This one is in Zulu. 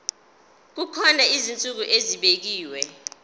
kukhona izinsuku ezibekiwe